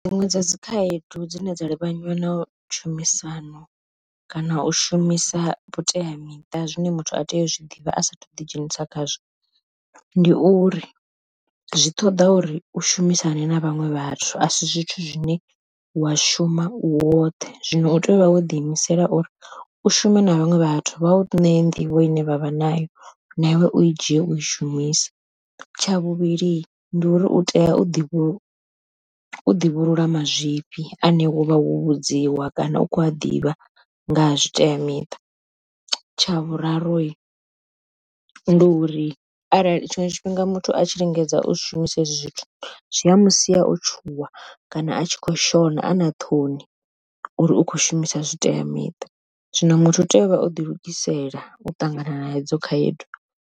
Dziṅwe dza dzi khaedu dzine dza livhanywa na tshumisano kana u shumisa vhuteamiṱa zwine muthu a tea u zwi ḓivha a sathu ḓi dzhenisa khazwo, ndi uri zwi ṱoḓa uri u shumisane na vhaṅwe vhathu a si zwithu zwine wa shuma u woṱhe zwiṅwe u tea u vha wo ḓi imisela uri u shuma na vhaṅwe vhathu vhau ṋee nḓivho ine vha vha nayo na iwe u i dzhie u i shumise. Tsha vhuvhili ndi uri u tea u ḓi u ḓivhulula mazwifhi ane wa vha wo vhudziwa kana u khou a ḓivha nga ha zwi teamiṱa, tsha vhuraru ndi uri arali tshiṅwe tshifhinga muthu a tshi lingedza u zwishumiswa hezwi zwithu zwi a musi o tshuwa kana a tshi kho shona ana ṱhoni, uri u khou shumisa zwi teamiṱa zwino muthu u tea u vha o ḓi lugisela u ṱangana na hedzo khaedu.